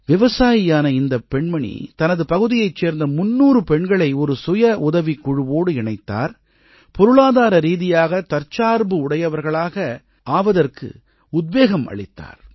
விவசாயியான இந்தப் பெண்மணி தனது பகுதியைச் சேர்ந்த 300 பெண்களை ஒரு சுய உதவிக் குழுவோடு இணைத்தார் பொருளாதார ரீதியாக தற்சார்பு உடையவர்களாக ஆவதற்கு உத்வேகம் அளித்தார்